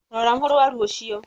rora mũrwaru ũcio